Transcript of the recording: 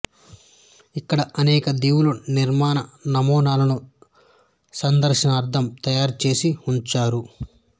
ఇక్కడ అనేక దీవుల నిర్మాణ నమూనాలను సందర్శనార్ధం తయారు చేసి ఉంచారు